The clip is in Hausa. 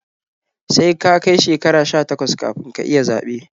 Sai ka kai shekara sha takwas kafin ka iya zaɓe